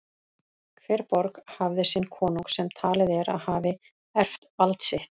Hver borg hafði sinn konung sem talið er að hafi erft vald sitt.